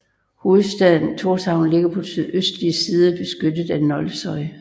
Hovedstaden Tórshavn ligger på den sydøstlige side beskyttet af Nolsoy